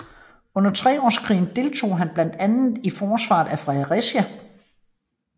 Under Treårskrigen deltog han blandt andet i forsvaret af Fredericia